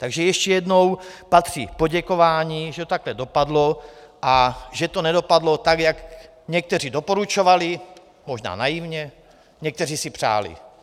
Takže ještě jednou patří poděkování, že to takhle dopadlo a že to nedopadlo tak, jak někteří doporučovali, možná naivně, někteří si přáli.